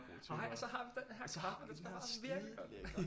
Ej og så har vi den her kaffe den smager virkelig godt